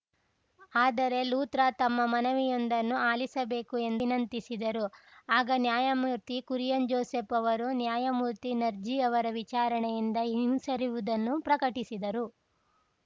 ಆದರೆ ಲೂತ್ರಾ ತಮ್ಮ ಮನವಿಯೊಂದನ್ನು ಆಲಿಸಬೇಕು ಎಂದು ವಿನಂತಿಸಿದರು ಆಗ ನ್ಯಾಯಮೂರ್ತಿಕುರಿಯನ್‌ ಜೋಸೆಫ್‌ ಅವರು ನ್ಯಾಯಮೂರ್ತಿನರ್ಜೀ ಅವರ ವಿಚಾರಣೆಯಿಂದ ಹಿಂಸರಿವುದನ್ನು ಪ್ರಕಟಿಸಿದರು